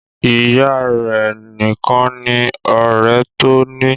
Ìyá a rẹ̀ nìkan ni ọ̀rẹ́ tó ní.